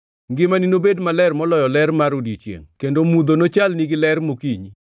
Ngimani nobed maler moloyo ler mar odiechiengʼ, kendo mudho nochalni gi ler mokinyi.